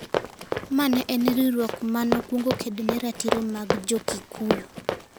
Mane en riwruok ma nokwongo kedo ne ratiro mag Jo-Kikuyu).